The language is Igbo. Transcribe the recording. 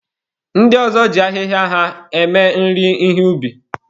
Ndị ọzọ ji ahịhịa ha eme nri ihe ubi.